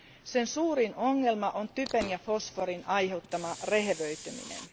Sen suurin ongelma on typen ja fosforin aiheuttama rehevöityminen.